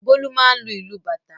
Bólú máà ń lu ìlù bàtá.